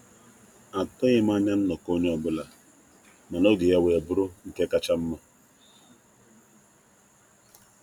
atughim anya nnọkọ onye ọbụla, mana oge ya wee bụrụ nke kacha mma.